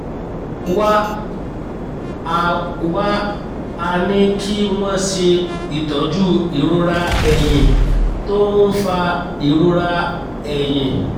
wá a wá a ní kí wọ́n ṣe itọju ìrora ẹ̀yìn tó ń fa ìrora ẹ̀yìn